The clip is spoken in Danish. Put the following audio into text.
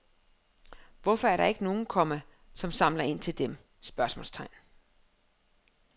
Hvorfor er der ikke nogen, komma som samler ind til dem? spørgsmålstegn